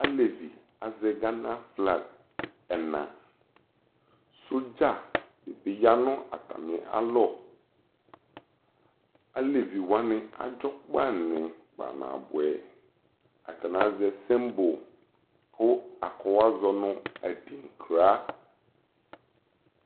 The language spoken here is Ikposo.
Alevi azɛ Gana flag ɛnaSodza de be ya no atane alɔAlevi wane adzɔ kpani kpanabuɛAtane azɛ simbol ko akɔwu azɔ moadinkra